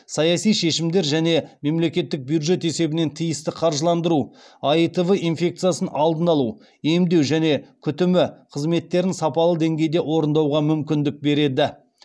саяси шешімдер және мемлекеттік бюджет есебінен тиісті қаржыландыру аитв инфекциясының алдын алу емдеу және күтімі қызметтерін сапалы деңгейде орындауға мүмкіндік береді